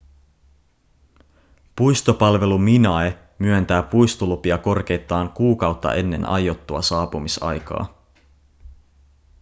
puistopalvelu minae myöntää puistolupia korkeintaan kuukautta ennen aiottua saapumisaikaa